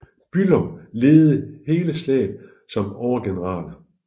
Bülow ledede hele slaget som overgeneral